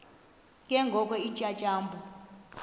ke ngoko iintyatyambo